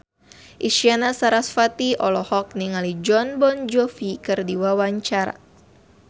Isyana Sarasvati olohok ningali Jon Bon Jovi keur diwawancara